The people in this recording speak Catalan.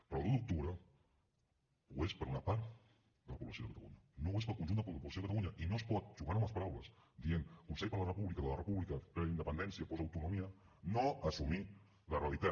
però l’un d’octubre ho és per a una part de la població de catalunya no ho és per al conjunt de la població de catalunya i no es pot jugant amb les paraules dient consell per la república o de la república preindependència postautonomia no assumir la realitat